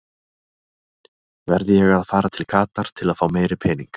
Verð ég að fara til Katar til fá meiri pening?